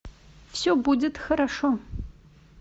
все будет хорошо